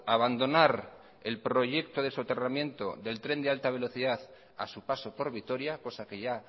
abandonar el proyecto de soterramiento del tren de alta velocidad a su paso por vitoria cosa que ya